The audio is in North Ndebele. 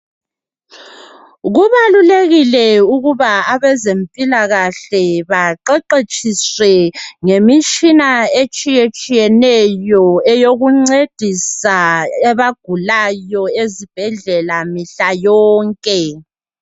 Kubalulekile ukuba abezempilakahle baqeqetshiswe ngemitshina etshiyetshiyeneyo eyokuncedisa abagulayo ezibhedlela mihla yonke.